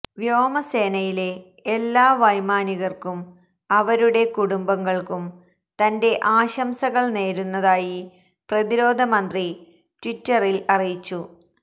വ്യോമ സേനയിലെ എല്ലാ വൈമാനികര്ക്കും അവരുടെ കുടുംബങ്ങള്ക്കും തന്റെ ആശംസകള് നേരുന്നതായി പ്രതിരോധ മന്ത്രി ട്വിറ്ററില് അറിയിച്ചു